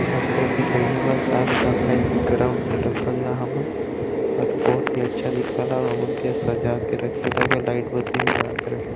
इहा बहुत ही बढ़िया बा साफ सफाई ग्राउंड और बहुत ही अच्छा दिखल आ ओमन के सजा के --